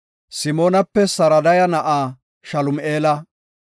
Simoonape Sursadaya na7a Salumi7eela;